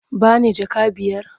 Ba ni jaka biyar?